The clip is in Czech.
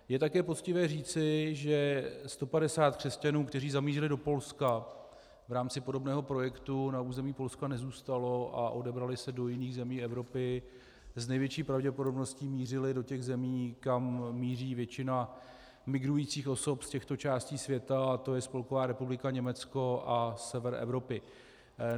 Je také poctivé říci, že 150 křesťanů, kteří zamířili do Polska v rámci podobného projektu, na území Polska nezůstalo a odebralo se do jiných zemí Evropy, s největší pravděpodobností mířili do těch zemí, kam míří většina migrujících osob z těchto částí světa, a to je Spolková republika Německo a sever Evropy.